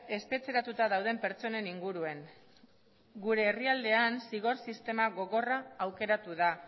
espetxeratuta dauden pertsonen inguruan gure herrialdean zigor sistema gogorra aukeratu da